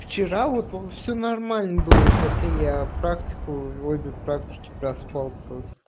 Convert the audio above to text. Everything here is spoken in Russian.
вчера вот все нормально было хотя я практику обе практике проспал просто